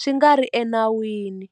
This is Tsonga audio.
swi nga ri enawini.